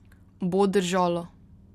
Bo držalo!